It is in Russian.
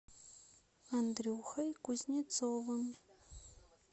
андрюхой кузнецовым